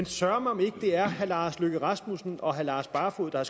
søreme om ikke det er herre lars løkke rasmussen og herre lars barfoed der